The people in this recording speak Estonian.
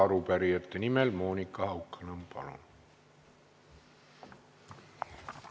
Arupärijate nimel Monika Haukanõmm, palun!